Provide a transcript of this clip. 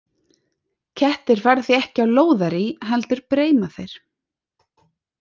Kettir fara því ekki á lóðarí, heldur breima þeir.